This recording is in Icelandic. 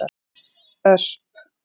Ösp